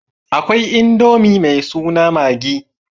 Akwai Indomi mai suna maggi.